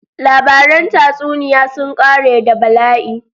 Labarin tatsuniya sun ƙare da bala'i.